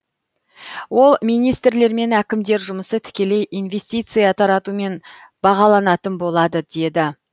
ол министрлер мен әкімдер жұмысы тікелей инвестиция таратумен бағаланатын болады деді